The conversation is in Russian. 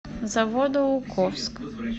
заводоуковск